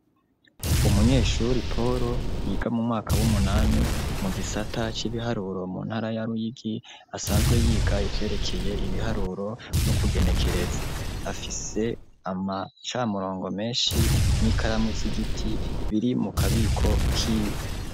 Umunyeshuri poro yiga mu mwaka w'umunani mu gisata c'ibiharuro mu ntara ya ruyigi asanzwe yiga ivyerekeye ibiharuro no kugenekereza, afise amacamurongo menshi n'ikaramu z'igiti biri mu kabiko kiwe.